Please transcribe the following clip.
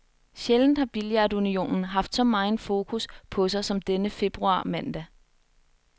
Sjældent har billardunionen haft så megen fokus på sig som denne februarmandag.